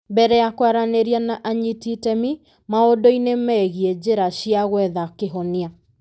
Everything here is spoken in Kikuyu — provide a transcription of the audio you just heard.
Mbere ya kwaranĩria na anyiti itemi, maũndũ-inĩ megiĩ njĩra cia gwetha kĩhonia.